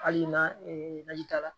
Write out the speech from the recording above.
Hali na ta la